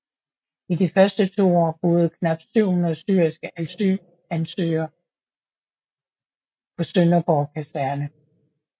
I de første to år boede knap 700 syriske asylansøgere på Sønderborg Kaserne